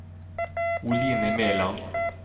Oline Meland